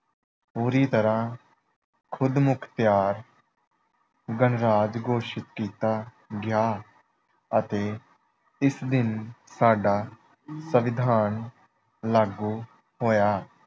ਪੂਰੀ ਤਰ੍ਹਾਂ ਖੁਦਮੁਖਤਿਆਰ ਗਣਰਾਜ ਘੋਸ਼ਿਤ ਕੀਤਾ ਗਿਆ ਅਤੇ ਇਸ ਦਿਨ ਸਾਡਾ ਸੰਵਿਧਾਨ ਲਾਗੂ ਹੋਇਆ।